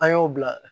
An y'o bila